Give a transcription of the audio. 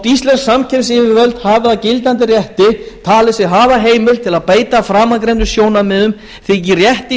íslensk samkeppnisyfirvöld hafi að gildandi rétti talið sig hafa heimild til að beita framangreindum sjónarmiðum þykir rétt í